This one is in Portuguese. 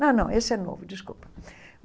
Não, não, esse é novo, desculpa.